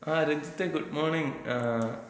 ആ രഞ്ജിത്തേ ഗുഡ്മോണിങ്. ങാ.